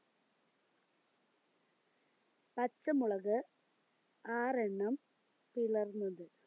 പച്ചമുളക് ആറെണ്ണം പിളർന്നത്